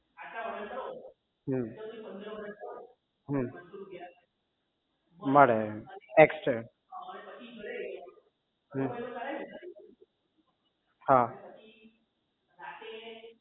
હમ મળે extra અમ હમ હા